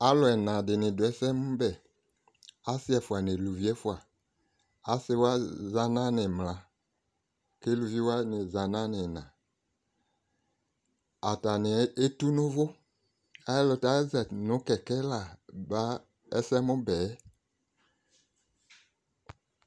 alò ɛna di ni do ɛsɛmòbɛ asi ɛfua n'aluvi ɛfua asi wa za n'animla k'aluvi wani za n'anina atani etu no uvò ɛlutɛ aza no kɛkɛ la ba ɛsɛmòbɛ yɛ